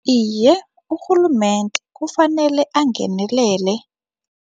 Iye, urhulumende kufanele angenelele.